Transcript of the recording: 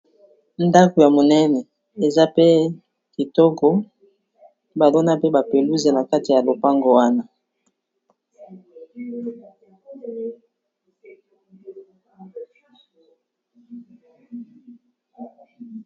Ndako ya monene, eza pe kitoko ba lona mpe ba pelouse na kati ya lopango wana.